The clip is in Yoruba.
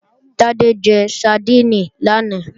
Tádé jẹ sadíìnì lánàá